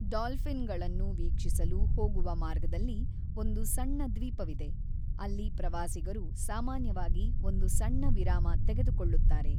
ಡಾಲ್ಫಿನ್‌ಗಳನ್ನು ವೀಕ್ಷಿಸಲು ಹೋಗುವ ಮಾರ್ಗದಲ್ಲಿ ಒಂದು ಸಣ್ಣ ದ್ವೀಪವಿದೆ, ಅಲ್ಲಿ ಪ್ರವಾಸಿಗರು ಸಾಮಾನ್ಯವಾಗಿ ಒಂದು ಸಣ್ಣ ವಿರಾಮ ತೆಗೆದುಕೊಳ್ಳುತ್ತಾರೆ.